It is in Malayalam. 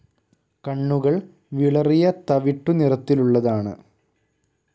കണ്ണുകൾ വിളറിയ തവിട്ടു നിറത്തിലുള്ളതാണ്.